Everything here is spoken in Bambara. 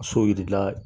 So jirila